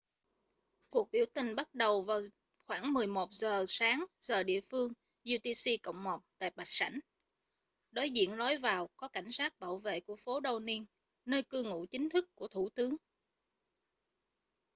cuộc biểu tình bắt đầu vào khoảng 11:00 giờ sáng giờ địa phương utc + 1 tại bạch sảnh đối diện lối vào có cảnh sát bảo vệ của phố downing nơi cư ngụ chính thức của thủ tướng